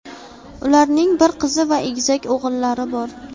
Ularning bir qizi va egizak o‘g‘illari bor.